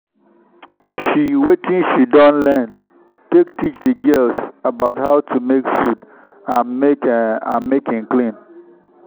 she watin she don learn take teach the girls about how to make food and make e and make e clean